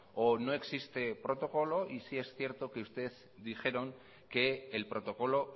o no existe protocolo y si es cierto que ustedes dijeron que el protocolo